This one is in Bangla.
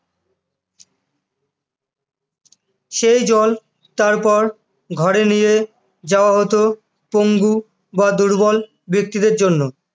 সেই জল তারপর ঘরে নিয়ে যাওয়া হতো পঙ্গু বা দুর্বল ব্যক্তিদের জন্য,